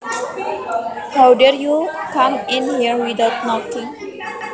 How dare you come in here without knocking